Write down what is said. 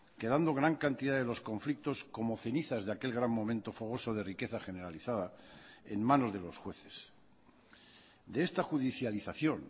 quedando gran cantidad de los conflictos como cenizas de aquel gran momento fogoso de riqueza generalizada en manos de los jueces de esta judicialización